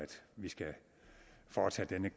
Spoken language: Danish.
vi skal foretage denne